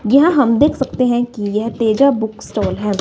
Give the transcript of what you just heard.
यहाँ हम देख सकते हैं कि यह तेजा बुक स्टॉल है।